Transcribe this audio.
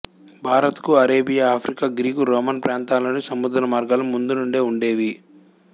భారత్ కు Arabia Africa Greek Roman ప్రాంతాలనుండి సముద్రమార్గాలు ముందునుండే ఉండేవి